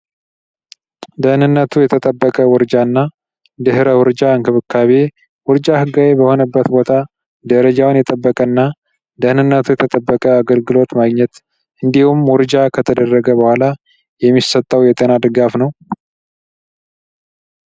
ደህንነቱ የተጠበቀ ውርጃ እና ድህረ ውርጃ አንክብካቤ ውርጃ ህጋዬ በሆነበት ቦታ ደረጃውን የጠበቀ እና ደህንነቱ የተጠበቀ አገልግሎት ማግኘት እንዲሁም ውርጃ ከተደረገ በኋላ የሚሰታው የተናድጋፍ ነው።